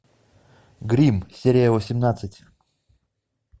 грим серия восемнадцать